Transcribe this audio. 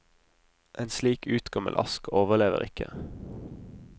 En slik utgammel ask overlever ikke.